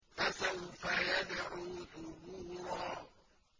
فَسَوْفَ يَدْعُو ثُبُورًا